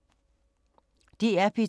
DR P2